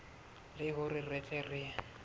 le hore re tle re